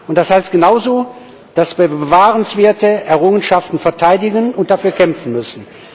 Das heißt genauso, dass wir bewahrenswerte Errungenschaften verteidigen und dafür kämpfen müssen.